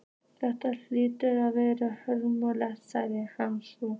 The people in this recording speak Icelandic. Þetta hlýtur að vera ömurlegt sagði hann svo.